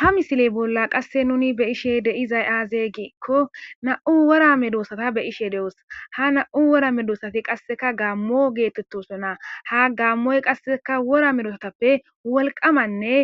ha misiley bolla qasse nuni be'ishe deizay aaze giikko na'u wora medoosata be'ishe de7osa ha na'u wora medosati qasseka gaammo geetettosona ha gaammoy qasseka wora medosatappe wolqamanne